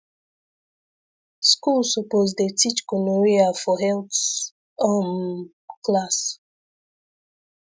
school suppose dey teach gonorrhea for health um class